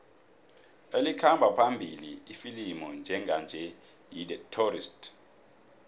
elikhamba phambili ifilimu njenganje yi the tourist